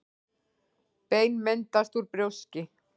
Bein myndast úr brjóski.